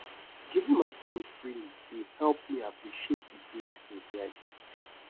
giving my time freely dey help me appreciate the blessings wey i get